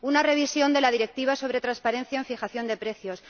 una revisión de la Directiva sobre transparencia en fijación de precios